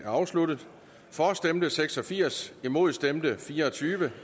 afsluttet for stemte seks og firs imod stemte fire og tyve